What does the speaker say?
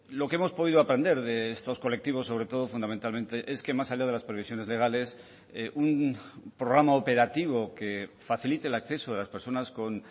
lo que hemos podido aprender de estos colectivos sobre todo fundamentalmente es que más allá de las previsiones legales un programa operativo que facilite el acceso de las personas con